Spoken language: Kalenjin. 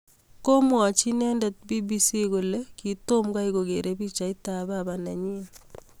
Komwachi inendet BBC kole kitomgai kokere pichait ab baba nenyi